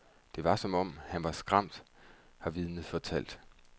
Det var som om, han var skræmt, har vidnet fortalt.